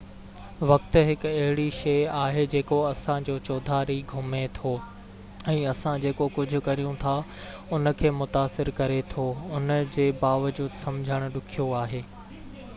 وقت هڪ اهڙي شئي آهي جيڪو اسان جي چوڌاري گهمي ٿو ۽ اسان جيڪو ڪجهہ ڪريون ٿا ان کي متاثر ڪري ٿو ان جي باوجود سمجهڻ ڏکيو آهي